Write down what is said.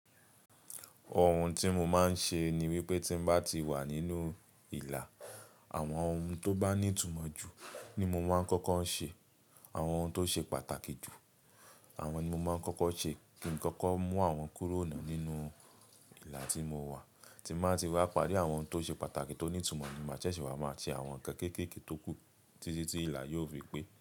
Ohun tí mo máa ń ṣe ni wípé tí ń bá ti wà nínú ìlà, àwọn ohun tó bá ní ìtumọ̀ ju ní mo máa ń kọ́kọ́ ṣe. Àwọn ohun tó ṣe pàtàkì jù, àwọn ohun tí mo máa ń kọ́kọ́ ṣe kí n kọ́kọ́ mú àwọn kúrò nínú ìlà tí mo wà. Tí n bá ti wá parí àwọn ohun tó ṣe pàtàkì, tó ní ìtumọ̀ ni màá jẹ́ ṣé wàá máa ṣe àwọn ǹkan kéékèèké tó kù tí ti tí ìlà yóò fi pé.